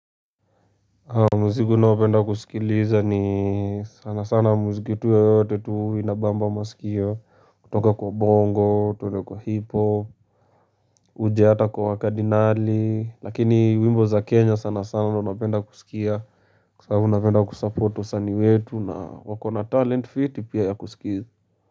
Muziki naopenda kusikiliza ni sana sana muziki tu yoyote tu inabamba masikio kutoka kwa bongo, twende kwa hiphop Uje hata kwa wakadinali lakini wimbo za kenya sana sana ndio napenda kusikia Kwa sababu napenda kusupport wasanii wetu na wako na talent fiti pia ya kusikia.